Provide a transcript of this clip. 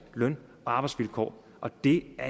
løn og arbejdsvilkår og det er